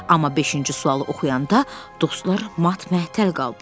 Amma beşinci sualı oxuyanda dostlar mat-məəttəl qaldılar.